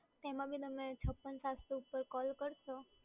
તેમાં બી તમે છપ્પન સાતસો પર કૉલ કરશો